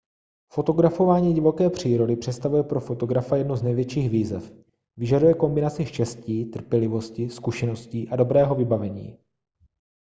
fotografování divoké přírody představuje pro fotografa jednu z největších výzev vyžaduje kombinaci štěstí trpělivosti zkušeností a dobrého vybavení